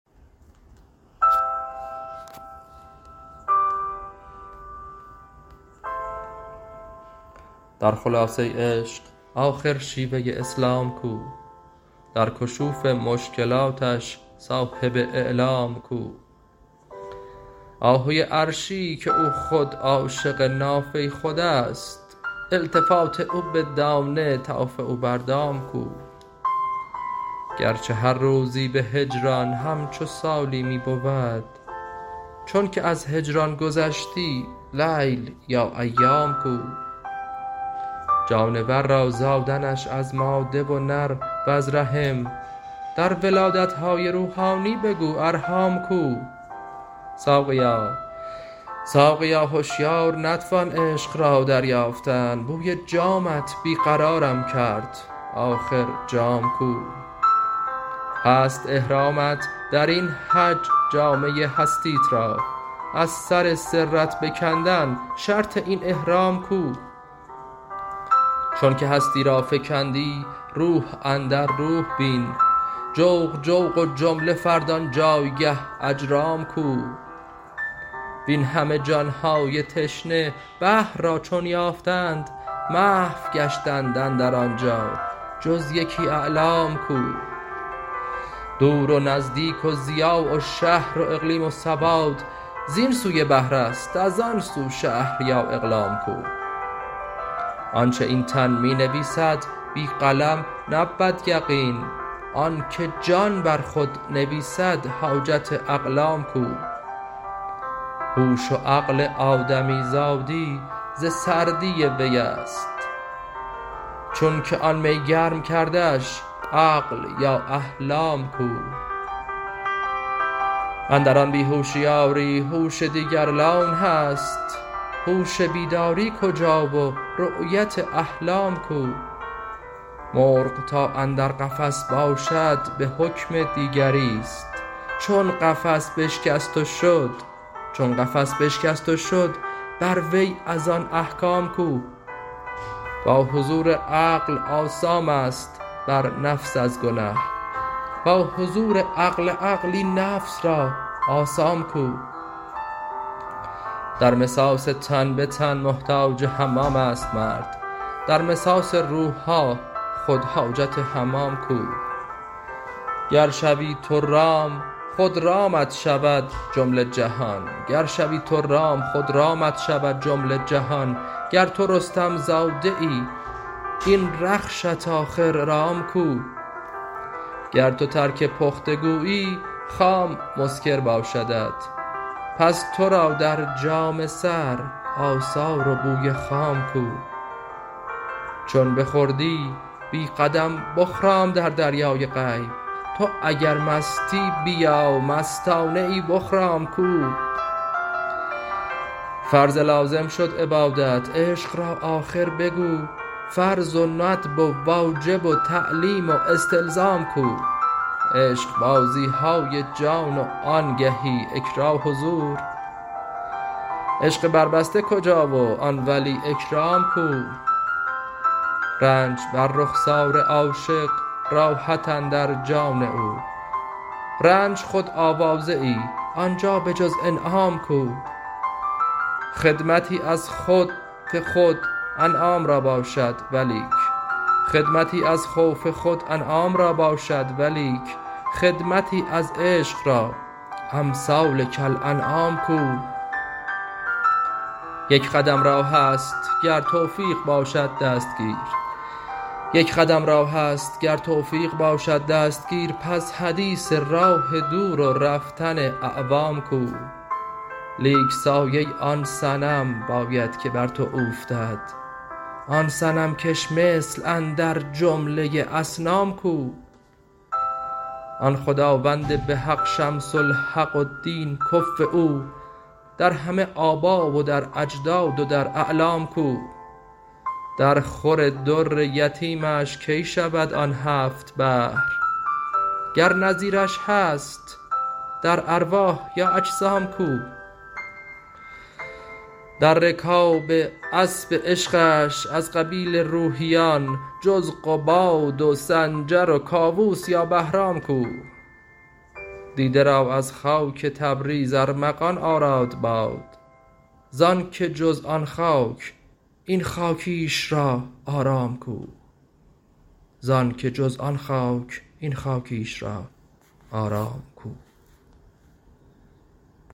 در خلاصه عشق آخر شیوه اسلام کو در کشوف مشکلاتش صاحب اعلام کو آهوی عرشی که او خود عاشق نافه خود است التفات او به دانه طوف او بر دام کو گرچه هر روزی به هجران همچو سالی می بود چونک از هجران گذشتی لیل یا ایام کو جانور را زادنش از ماده و نر وز رحم در ولادت های روحانی بگو ارحام کو ساقیا هشیار نتوان عشق را دریافتن بوی جامت بی قرارم کرد آخر جام کو هست احرامت در این حج جامه هستیت را از سر سرت بکندن شرط این احرام کو چونک هستی را فکندی روح اندر روح بین جوق جوق و جمله فرد آن جایگه اجرام کو وین همه جان های تشنه بحر را چون یافتند محو گشتند اندر آن جا جز یکی علام کو دور و نزدیک و ضیاع و شهر و اقلیم و سواد زین سوی بحر است از آن سو شهر یا اقلام کو آنچ این تن می نویسد بی قلم نبود یقین آنک جان بر خود نویسد حاجت اقلام کو هوش و عقل آدمیزادی ز سردی وی است چونک آن می گرم کردش عقل یا احلام کو اندر آن بی هوشی آری هوش دیگر لون هست هوش بیداری کجا و رأیت احلام کو مرغ تا اندر قفس باشد به حکم دیگری است چون قفس بشکست و شد بر وی از آن احکام کو با حضور عقل آثام است بر نفس از گنه با حضور عقل عقل این نفس را آثام کو در مساس تن به تن محتاج حمام است مرد در مساس روح ها خود حاجت حمام کو گر شوی تو رام خود رامت شود جمله جهان گر تو رستم زاده ای این رخشت آخر رام کو گر تو ترک پخته گویی خام مسکر باشدت پس تو را در جام سر آثار و بوی خام کو چون بخوردی بی قدم بخرام در دریای غیب تو اگر مستی بیا مستانه ای بخرام کو فرض لازم شد عبادت عشق را آخر بگو فرض و ندب و واجب و تعلیم و استلزام کو عشقبازی های جان و آنگهی اکراه و زور عشق بربسته کجا و ای ولی اکرام کو رنج بر رخسار عاشق راحت اندر جان او رنج خود آوازه ای آن جا به جز انعام کو خدمتی از خوف خود انعام را باشد ولیک خدمتی از عشق را امثال کالانعام کو یک قدم راه است گر توفیق باشد دستگیر پس حدیث راه دور و رفتن اعوام کو لیک سایه آن صنم باید که بر تو اوفتد آن صنم کش مثل اندر جمله اصنام کو آن خداوند به حق شمس الحق و دین کفو او در همه آبا و در اجداد و در اعمام کو درخور در یتیمش کی شود آن هفت بحر گر نظیرش هست در ارواح یا اجسام کو در رکاب اسپ عشقش از قبیل روحیان جز قباد و سنجر و کاووس یا بهرام کو دیده را از خاک تبریز ارمغان آراد باد ز آنک جز آن خاک این خاکیش را آرام کو